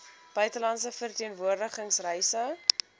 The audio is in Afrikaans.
buitelandse verteenwoordiging reise